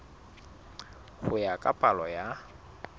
ho ya ka palo ya